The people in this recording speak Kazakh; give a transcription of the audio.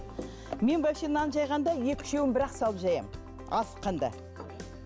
мен вообще нан жайғанда екі үшеуін бір ақ салып жаямын асыққанда